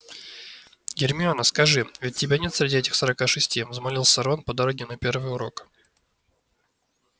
гермиона скажи ведь тебя нет среди этих сорока шести взмолился рон по дороге на первый урок